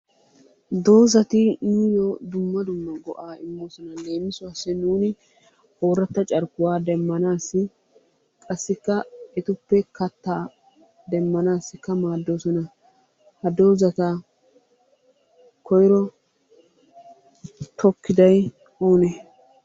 Dozati nuyyoo dumma dumma go'aa immoosona. Leemisuwassi nuuni ooratta carkkuwa demmanaassi qassikka etuppe kattaa demmanaassikka maaddoosona. Ha dozata koyiro tokkiday oonee?